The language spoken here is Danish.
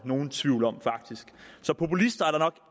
nogen tvivl om faktisk så populister er der nok